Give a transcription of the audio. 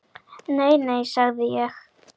Nei, nei, sagði ég.